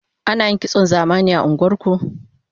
Ana yin kitson zamani a unguwar ku?